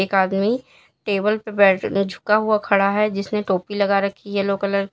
एक आदमी टेबल पे झुका हुआ खड़ा है जिसने टोपी लगा रखी है येलो कलर की।